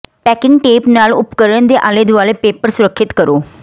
packing tape ਨਾਲ ਉਪਕਰਣ ਦੇ ਆਲੇ ਦੁਆਲੇ ਪੇਪਰ ਸੁਰੱਖਿਅਤ ਕਰੋ